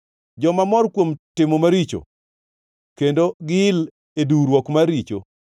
joma mor kuom timo maricho kendo giil e duwruok mar richo,